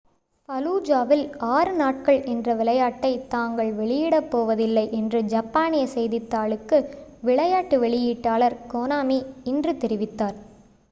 ஃபலூஜாவில் ஆறு நாட்கள் என்ற விளையாட்டை தாங்கள் வெளியிடப் போவதில்லை என்று ஜப்பானிய செய்தித்தாளுக்கு விளையாட்டு வெளியீட்டாளர் கோனாமி இன்று தெரிவித்தார்